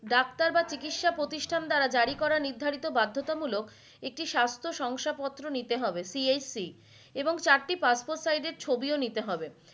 Doctor বা চিকিসা প্রতিষ্ঠান দ্বারা জারি করা নির্ধারিত বার্ধতা মূলক একটি স্বাস্থসংশা পত্র নিতে হবে CHC এবং চারটি passport size এর ছবিও নিতে হবে।